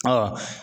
Ɔ